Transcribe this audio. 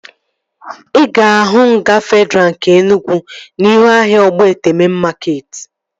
Ị ga-ahụ nga Fedraa nke Enugwu n'ihu ahịa Ogbete mein makeetị